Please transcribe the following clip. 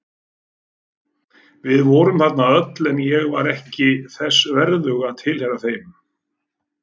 Við vorum þarna öll en ég var ekki þess verðug að tilheyra þeim.